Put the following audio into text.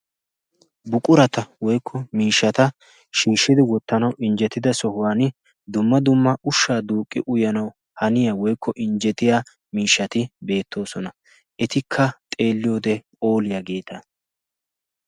buqurata woykko miishshata shiishshidi wottanawu injjetida sohuwan dumma dumma ushshaa duuqqi uyyanawu haniya woykko injjetiya miishshati beettoosona etikka xeelliyoode pooliyaageeta